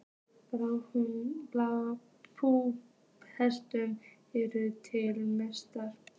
bú hlutafélags, eru til meðferðar sem gjaldþrota.